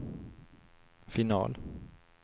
final